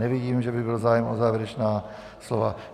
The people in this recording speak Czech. Nevidím, že by byl zájem o závěrečná slova.